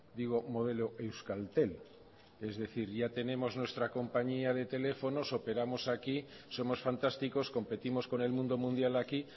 digo modelo euskaltel es decir ya tenemos nuestra compañía de teléfonos operamos aquí somos fantásticos competimos con el mundo mundial aquí